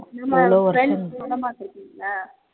friends படம் பார்த்து இருக்கீங்களா